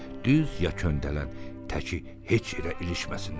Düz ya köndələn, təki heç yerə ilişməsinlər.